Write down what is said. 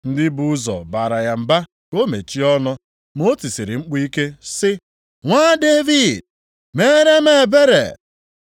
Ndị bu ụzọ baara ya mba ka o mechie ọnụ. Ma o tisiri mkpu ike sị, “Nwa Devid, meere m ebere!”